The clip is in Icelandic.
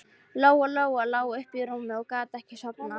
Lóa-Lóa lá uppi í rúmi og gat ekki sofnað.